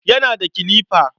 Yana da kilifa.